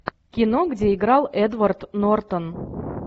кино где играл эдвард нортон